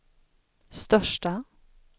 största